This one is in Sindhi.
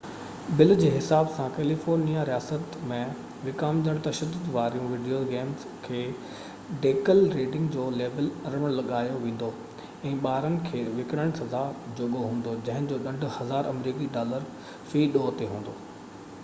بل جي حساب سان ڪيليفورنيا رياست ۾ وڪامجندڙ تشدد واريون وڊيو گيمز کي ڊيڪل ريڊنگ جو ليبل 18 لڳايو ويندو ۽ ٻارن کي وڪڻڻ سزا جوڳو هوندو جنهن جو ڏنڊ 1000 آمريڪي ڊالر في ڏوه تي هوندو